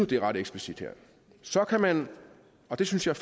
det er ret eksplicit her så kan man og det synes jeg